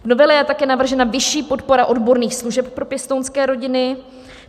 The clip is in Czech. V novele je také navržena vyšší podpora odborných služeb pro pěstounské rodiny.